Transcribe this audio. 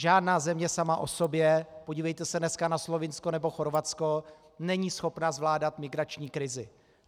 Žádná země sama o sobě, podívejte se dneska na Slovinsko nebo Chorvatsko, není schopna zvládat migrační krizi.